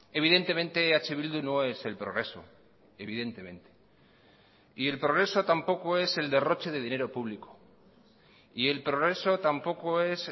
evidentemente eh bildu no es el progreso evidentemente y el progreso tampoco es el derroche de dinero público y el progreso tampoco es